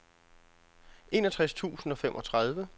enogtres tusind og femogtredive